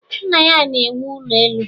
Nna ya na-ewu ụlọ elu